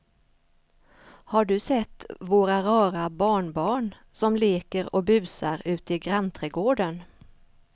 Har du sett våra rara barnbarn som leker och busar ute i grannträdgården!